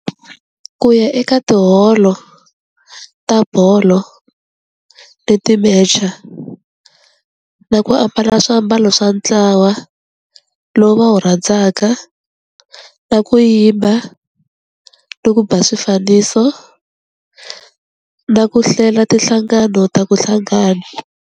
Ku ya eka tiholo ta bolo ni ti-match-a na ku ambala swiambalo swa ntlawa lowu va wu rhandzaka na ku yimba ni ku ba swifaniso na ku hlela tinhlangano ta ku hlangana.